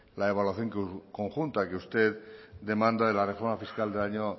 la evaluación conjunta que usted demanda de la reforma fiscal del año